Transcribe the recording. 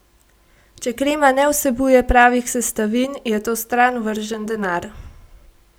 Če krema ne vsebuje pravih sestavin, je to stran vržen denar.